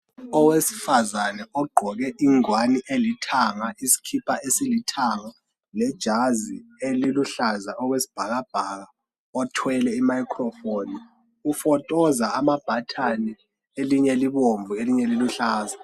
Owesifazane ogqoke ingwane elithanga, isikipha esilithanga lejazi eliluhlaza okwesibhakabhaka othwele imicrophone ufotoza ama button elinye libomvu elinye liluhlaza